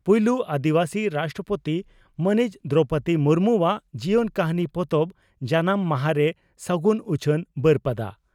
ᱯᱩᱭᱞᱩ ᱟᱹᱫᱤᱵᱟᱹᱥᱤ ᱨᱟᱥᱴᱨᱚᱯᱳᱛᱤ ᱢᱟᱹᱱᱤᱡ ᱫᱨᱚᱣᱯᱚᱫᱤ ᱢᱩᱨᱢᱩᱣᱟᱜ ᱡᱤᱭᱚᱱ ᱠᱟᱹᱦᱱᱤ ᱯᱚᱛᱚᱵ ᱡᱟᱱᱟᱢ ᱢᱟᱦᱟᱨᱮ ᱥᱟᱹᱜᱩᱱ ᱩᱪᱷᱟᱹᱱ ᱵᱟᱹᱨᱯᱟᱫᱟ